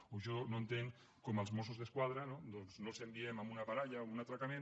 o jo no entenc com els mossos d’esquadra no doncs no els enviem a una baralla o un atracament